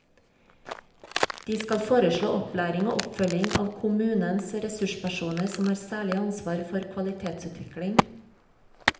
De skal foreslå opplæring og oppfølging av kommunenes ressurspersoner som har særlig ansvar for kvalitetsutvikling.